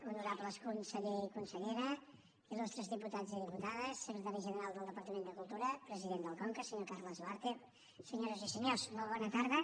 honorables conseller i consellera il·lustres diputats i diputades secretari general del departament de cultura president del conca senyor carles duarte senyores i senyors molt bona tarda